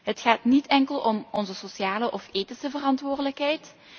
Het gaat niet enkel om onze sociale of ethische verantwoordelijkheid.